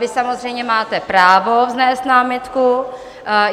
Vy samozřejmě máte právo vznést námitku.